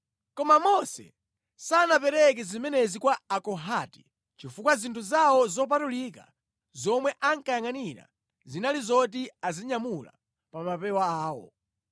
Koma Mose sanapereke zimenezi kwa Akohati chifukwa zinthu zawo zopatulika zomwe ankayangʼanira zinali zoti azinyamula pa mapewa awo.